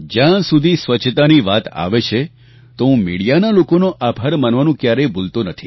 જ્યાં સુધી સ્વચ્છતાની વાત આવે છે તો હું મીડિયાના લોકોનો આભાર માનવાનું ક્યારેય ભૂલતો નથી